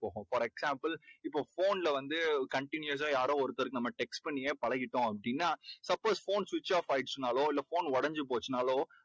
for example இப்போ phone ல வந்து continuous ஆ யாரோ ஒருத்தருக்கு நம்ம text பண்ணியே பழகிட்டோம் அப்படீன்னா suppose phone switch off ஆயிடுச்சுன்னாலோ phone உடைஞ்சு போயிடுச்சுன்னாலோ